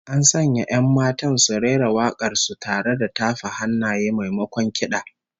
An sanya 'yan matan su rera wak'ar su tare da tafa hannaye, maimakon kid'a